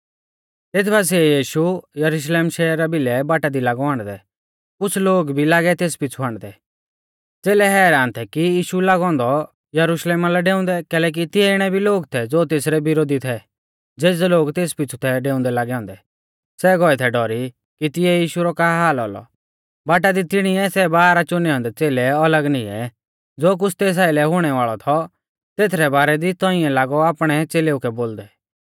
तेथ बासिऐ यीशु यरुशलेमा शहरा भिलै बाटा दी लागौ आण्डदै कुछ़ लोग भी लागै तेस पीछ़ु आण्डदै च़ेलै हैरान थै कि यीशु लागौ औन्दौ यरुशलेमा लै डेउंदै कैलैकि तिऐ इणै भी लोग थै ज़ो तेसरै विरोधी थै ज़ेज़ै लोग तेस पीछ़ु थै डेउंदै लागै औन्दै सै गौऐ थै डौरी कि तिऐ यीशु रौ का हाल औलौ बाटा दी तिणीऐ सै बारह च़ुनै औन्दै च़ेलै अलग निऐं ज़ो कुछ़ तेस आइलै हुणै वाल़ौ थौ तेथरै बारै दी तौंइऐ लागौ आपणै च़ेलेउ कै बोलदै